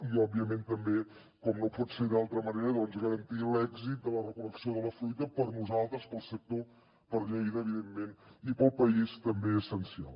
i òbviament també com no pot ser d’altra manera doncs garantir l’èxit de la recol·lecció de la fruita per nosaltres pel sector per lleida evidentment i pel país també essencial